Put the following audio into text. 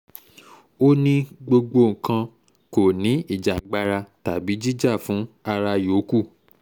ó ní gbogbo nǹkan kò ní ìjàngbara tàbí jíjà fún ara yòókù